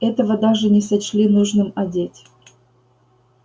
этого даже не сочли нужным одеть